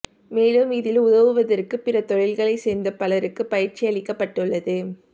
மேலும் இதில் உதவுவதற்கு பிற தொழில்களைச் சேர்ந்த பலருக்கு பயிற்சி அளிக்கப்பட்டுள்ளது